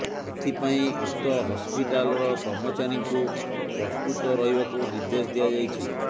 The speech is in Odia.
ଏଥିପାଇଁ ଉକ୍ତ ହସ୍ପିଟାଲର କର୍ମଚାରୀଙ୍କୁ ପ୍ରସ୍ତୁତ ରହିବାକୁ ନିର୍ଦ୍ଦେଶ ଦିଆଯାଇଛି